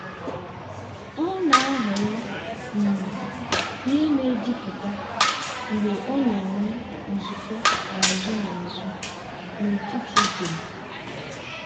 ọ na-ahọrọ um ihe na-ejupụta mgbe ọ na-enwe nzukọ azụ na azụ n'ụtụtụ dum.